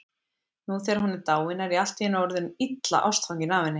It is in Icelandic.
Nú þegar hún er dáin er ég allt í einu orðinn illa ástfanginn af henni.